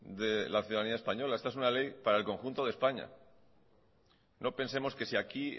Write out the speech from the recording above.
de la ciudadanía española esta es una ley para el conjunto de españa no pensemos que si aquí